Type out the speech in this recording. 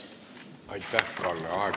Aitäh, Kalle!